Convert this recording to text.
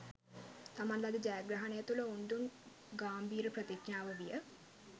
තමන් ලද ජයග්‍රහණය තුළ ඔවුන් දුන් ගාම්භීර ප්‍රතිඥාව විය